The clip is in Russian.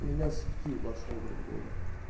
меня сутки ебашило грубо говоря